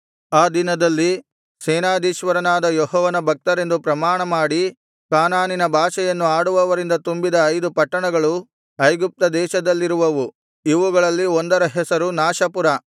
ಆ ದಿನದಲ್ಲಿ ಸೇನಾಧೀಶ್ವರನಾದ ಯೆಹೋವನ ಭಕ್ತರೆಂದು ಪ್ರಮಾಣಮಾಡಿ ಕಾನಾನಿನ ಭಾಷೆಯನ್ನು ಆಡುವವರಿಂದ ತುಂಬಿದ ಐದು ಪಟ್ಟಣಗಳು ಐಗುಪ್ತ ದೇಶದಲ್ಲಿರುವವು ಇವುಗಳಲ್ಲಿ ಒಂದರ ಹೆಸರು ನಾಶಪುರ